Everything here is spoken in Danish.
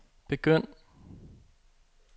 begynd